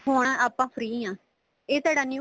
ਹੁਣ ਆਪਾਂ free ਆ ਇਹ ਤੁਹਾਡਾ new